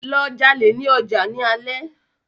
Lọ jalè ní ọjà ní alé!